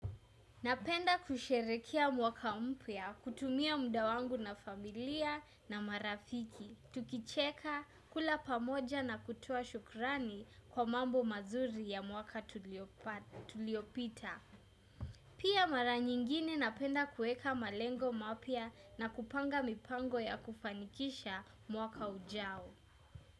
Napenda kusherehekea mwaka mpya, kutumia muda wangu na familia na marafiki, tukicheka, kula pamoja na kutoa shukrani kwa mambo mazuri ya mwaka tuliopita. Pia mara nyingine napenda kueka malengo mapya na kupanga mipango ya kufanikisha mwaka ujao.